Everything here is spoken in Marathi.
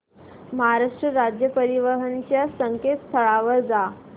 महाराष्ट्र राज्य परिवहन च्या संकेतस्थळावर जा